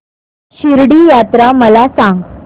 शिर्डी यात्रा मला सांग